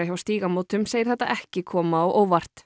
hjá Stígamótum segir þetta ekki koma á óvart